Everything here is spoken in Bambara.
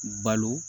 Balo